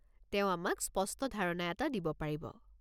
তেওঁ আমাক স্পষ্ট ধাৰণা এটা দিব পাৰিব।